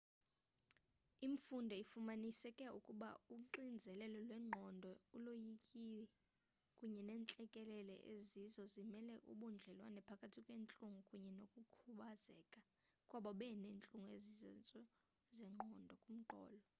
imfundo ifumanise ukuba uxinzelelo lwengqondo uloyiko kunye nentlekele zizo ezimele ubudlelwane phakathi kwentlungu kunye nokukhubazeka kwabo baneentlungu ezisezantsi komqolo